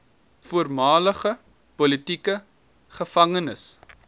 voormalige politieke gevangenes